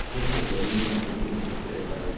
мне похуй я доминант я не буду повторять два раза